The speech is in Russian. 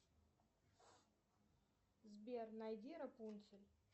сбер найди рапунцель